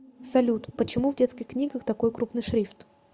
салют почему в детских книгах такой крупный шрифт